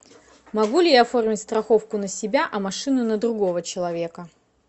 могу ли я оформить страховку на себя а машину на другого человека